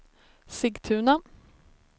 Sigtuna